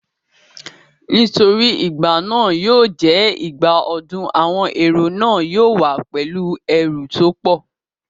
Nítorí igbà náà yóò jẹ́ ìgbà ọdún, àwọn èrò náà yóò wá pẹ̀lú ẹrù tó pọ̀